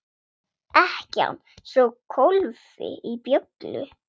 Ekkjan sló kólfi í bjöllu.